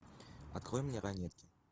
открой мне ранетки